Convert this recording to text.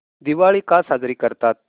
दिवाळी का साजरी करतात